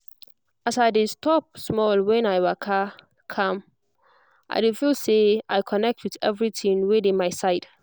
as i de stop small when i waka calm i dey feel say i connect with everything wey dey my side